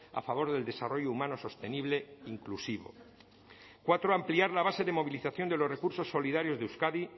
a favor del desarrollo humano sostenible inclusivo cuatro ampliar la base de movilización de los recursos solidarios de euskadi